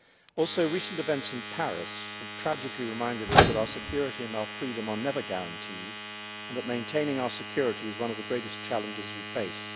Also, recent events in Paris have tragically reminded us that our security and our freedom are never guaranteed, and that maintaining our security is one of the greatest challenges we face.